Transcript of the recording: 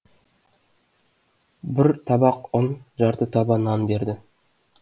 бір табақ ұн жарты таба нан берді